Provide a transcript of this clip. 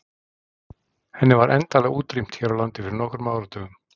Henni var endanlega útrýmt hér á landi fyrir nokkrum áratugum.